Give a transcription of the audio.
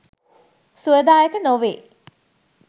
සුවදායක නොවේ.